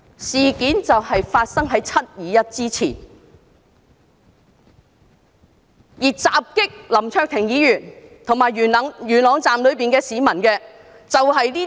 事件就發生在"七二一"之前，而襲擊林卓廷議員和元朗站內市民的，就是白衣人。